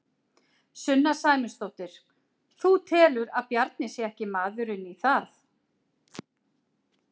Sunna Sæmundsdóttir: Þú telur að Bjarni sé ekki maðurinn í það?